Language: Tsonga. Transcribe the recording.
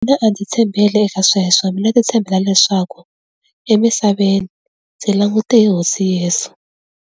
Mina a ndzi tshembele eka sweswo mina ndzi tshembela leswaku emisaveni ndzi langute hi hosi Yesu.